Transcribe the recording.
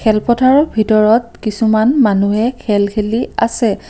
খেলপথাৰৰ ভিতৰত কিছুমান মানুহে খেল খেলি আছে।